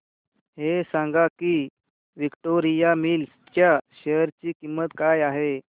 हे सांगा की विक्टोरिया मिल्स च्या शेअर ची किंमत काय आहे